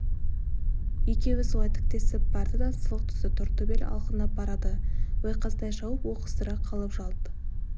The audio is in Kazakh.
екеуі солай тіктесіп барды да сылқ түсті тортөбел алқынып барады ойқастай шауып оқыс тұра қалып жалт